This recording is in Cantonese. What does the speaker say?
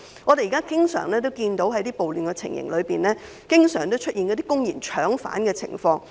我們現時經常在一些暴亂情形中看到出現公然"搶犯"的情況。